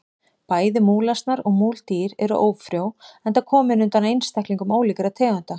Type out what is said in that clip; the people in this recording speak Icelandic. Bæði múlasnar og múldýr eru ófrjó enda komin undan einstaklingum ólíkra tegunda.